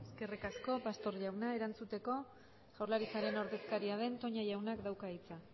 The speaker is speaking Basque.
eskerrik asko pastor jauna erantzuteko jaurlaritzaren ordezkaria den toña jauna dauka hitza